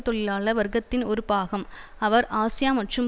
தொழிலாள வர்க்கத்தின் ஒரு பாகம் ஆவர் ஆசியா மற்றும்